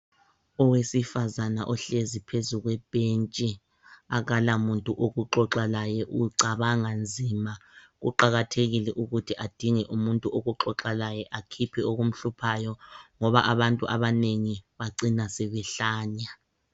Owesifazana ohlezi phezu kwebhentshi akulamuntu wokuxoxa laye ucabanga nzima. Kuqakathekile ukuthi adinge umuntu wokuxoxa laye akhiphe okumhluphayo ngoba abantu abanengi bacina sebehlanya.